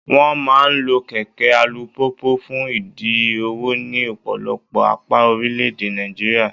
Wọ́n máa ń lo kẹ̀kẹ́ alùpùpù fún ìdí òwò ní ọ̀pọ̀lọpọ̀ apá orílẹ̀-èdè Nàìjíríà.